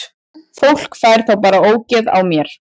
Fólk fær þá bara ógeð á mér.